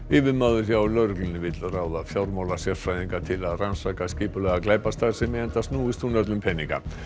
yfirmaður hjá lögreglunni vill ráða fjármálasérfræðinga til að rannsaka skipulagða glæpastarfsemi enda snúist hún öll um peninga